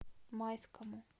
майскому